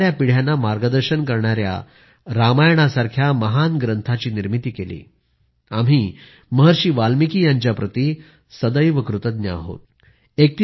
त्यांनी येणाऱ्या पिढ्यांना मार्गदर्शन करणाऱ्या रामायणासारख्या महान ग्रंथाची निर्मिती केली आम्ही महर्षी वाल्मिकी यांच्या प्रती सदैव कृतज्ञ राहू